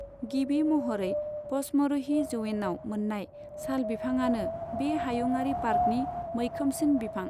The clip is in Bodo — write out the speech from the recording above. गिबि महरै पचमरहि जौयेनाव मोननाय साल बिफाङानो बे हायुङारि पार्कनि मैखोमसिन बिफां।